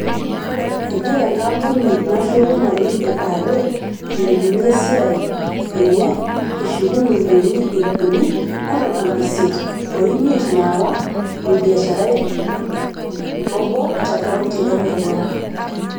Egirra enkampuni nashuku mali e (ARA) ailepunye esiaai enye eshuku milioni ip uni o ntomomi isiet o imiet naawa olbiashara lee obo te kaonti e Mandera